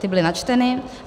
Ty byly načteny.